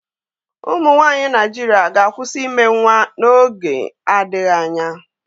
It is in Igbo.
Ụmụ nwanyị Naijiria ga-akwụsị ime nwa n'oge adịghị anya